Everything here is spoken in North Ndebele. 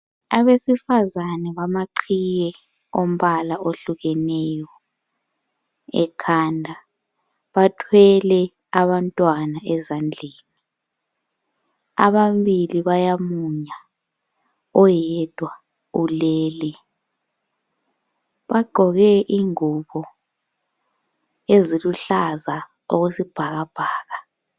Abesifazana bamaqhiye ombala ohlukeneyo ekhanda , bathwele Abantwana ezandleni, amabili bayamunya oyedwa ulele ,bagqoke ingubo eziluhlaza okwesibhakabhaka